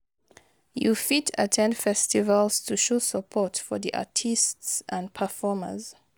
You fit at ten d festivals to show support for di artists and performers.